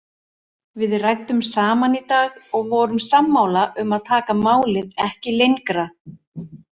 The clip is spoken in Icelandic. Við ræddum saman í dag og vorum sammála um að taka málið ekki lengra.